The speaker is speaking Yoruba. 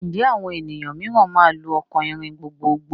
Ǹjẹ́ àwọn ènìyàn mìíràn máa lò ọkọ̀ ìrìn gbogbogbò?